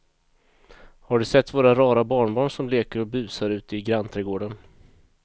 Har du sett våra rara barnbarn som leker och busar ute i grannträdgården!